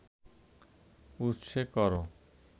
উৎসে কর